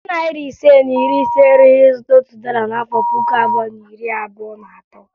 Narị naịra ise na iri ise erughi ịzụta otu dọla n'afọ puku abụọ na iri abụo na atọ.